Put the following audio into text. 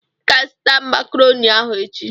I ga-azụta makrọni ahụ echi.